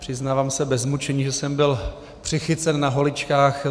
Přiznávám se bez mučení, že jsem byl přichycen na holičkách.